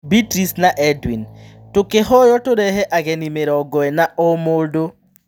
Beatrice na Edwin: Tũkĩhoywo tũrehe ageni mĩrongoĩna o-mũndũ.